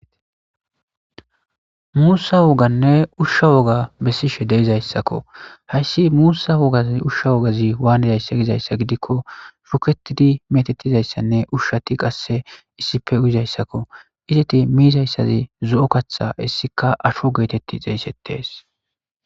Musa wogane usha woga besishe dizaysako. Haysi musa wogazi usha wogazi waanidayse gizaysa gidiko, shuketidi mizaysanne ushati qase issippe uyizaysako izeti mizaysi zo'o katha hessika aaho getetidi xeygetees.